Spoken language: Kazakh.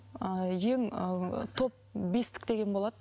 ыыы ең ыыы топ бестік деген болады